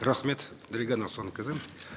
рахмет дариға нұрсұлтанқызы